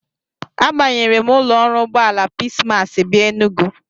Abanyere m ụlọ ọrụ ụgbọala Peace Mass bịa Enugu.